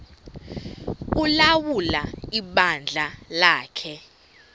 ulawula ibandla lakhe